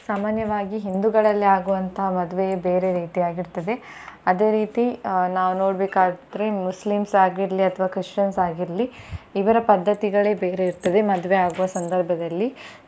ಸಾಮಾನ್ಯವಾಗಿ ಹಿಂದೂಗಳಲ್ಲಿ ಆಗುವಂತಹ ಮದುವೆ ಬೇರೆ ರೀತಿ ಆಗಿರುತ್ತದೆ ಅದೆ ರೀತಿ ನಾವು ನೋಡಬೇಕಾದರೆ Muslims ಆಗಿರಲಿ ಅಥವಾ Christian ಆಗಿರಲಿ ಇವರ ಪದ್ದತಿಗಳೆ ಬೇರೆ ಇರ್ತದೆ ಮದುವೆ ಆಗುವ ಸಂದರ್ಭದಲ್ಲಿ.